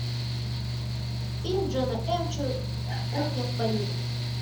фильм джона м чу кухня в париже